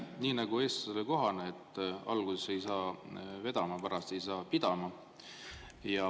Nii nagu eestlasele kohane, et alguses ei saa vedama, pärast ei saa pidama.